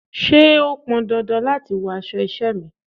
Ṣé o pọn dandan láti wọ aṣọ iṣẹ́ mi?